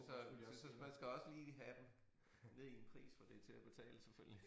Altså så så så man skal også lige have dem ned i en pris hvor det er til at betale selvfølgelig